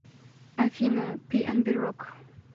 афина пиэнби рок